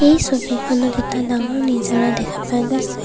এই ছবিখনত এটা ডাঙৰ নিজৰা দেখা পোৱা গৈছে।